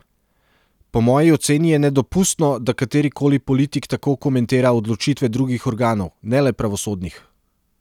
Po moji oceni je nedopustno, da katerikoli politik tako komentira odločitve drugih organov, ne le pravosodnih.